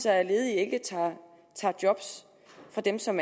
at ledige ikke tager job fra dem som